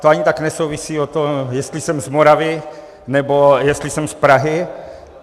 To ani tak nesouvisí od toho, jestli jsem z Moravy, nebo jestli jsem z Prahy.